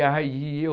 E aí eu...